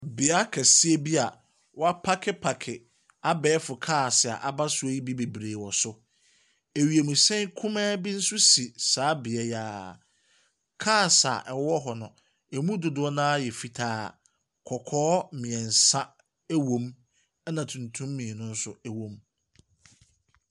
Beaeɛ keseɛ bia wɔapakepake abɛɛfo cars a abasoɔ yi bi bebree wɔ so. Ewiemuhyɛn kumaa bi nso si saa beaeɛ yia. Cars a ɛwɔ hɔ no, emu dodoɔ naa yɛ fitaa, kɔkɔɔ mmiɛnsa ɛwɔ mu, ɛna tuntum mmienu ɛnso ɛwɔ mu.